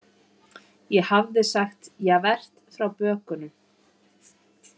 Ég hafði sagt Javert frá bökunum.